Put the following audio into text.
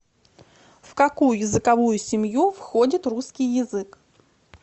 в какую языковую семью входит русский язык